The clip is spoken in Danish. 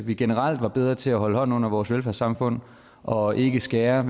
vi generelt var bedre til at holde hånden under vores velfærdssamfund og ikke skære